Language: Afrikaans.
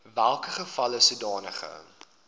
welke geval sodanige